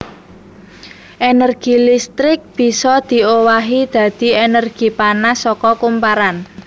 Énergi listrik bisa diowahi dadi énergi panas saka kumparan